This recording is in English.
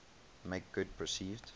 make good perceived